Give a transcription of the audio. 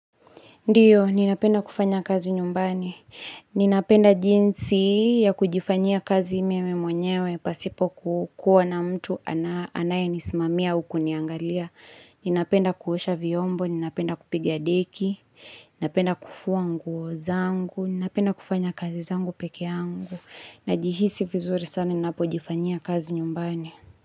Ndio, ninapenda kufanya kazi nyumbani. Ninapenda jinsi ya kujifanyia kazi mimi mwenyewe pasipo kukua na mtu anayenisimamia au kuniangalia. Ninapenda kuosha vyombo, ninapenda kupiga deki, ninapenda kufua nguo zangu, ninapenda kufanya kazi zangu pekee yangu. Najihisi vizuri sana ninapojifanyia kazi nyumbani.